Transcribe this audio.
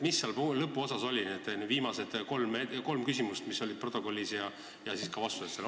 Mis seal lõpuosas oli, need viimased kolm küsimust, mis olid protokollis, ja ka vastused?